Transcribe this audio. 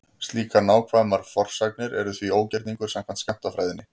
Slíkar nákvæmar forsagnir eru því ógerningur samkvæmt skammtafræðinni.